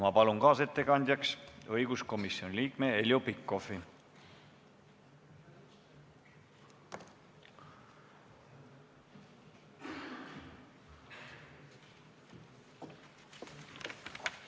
Ma palun kaasettekandjaks õiguskomisjoni liikme Heljo Pikhofi!